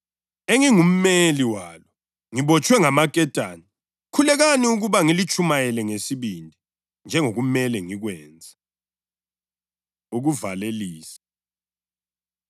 Lami lingikhulekele ukuba kokuphela lapho ngivula umlomo wami, ngiphiwe amazwi ukuze ngitshumayele ngesibindi imfihlakalo yevangeli,